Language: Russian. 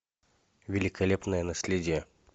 великолепное наследие